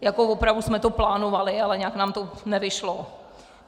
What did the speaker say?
Jako opravdu jsme to plánovali, ale nějak nám to nevyšlo.